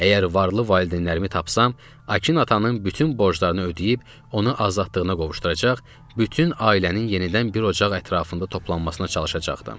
Əgər varlı valideynlərimi tapsam, Akın atanın bütün borclarını ödəyib, onu azadlığına qovuşduracaq, bütün ailənin yenidən bir ocaq ətrafında toplanmasına çalışacaqdım.